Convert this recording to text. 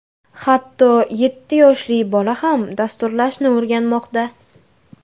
Hatto yetti yoshli bola ham dasturlashni o‘rganmoqda.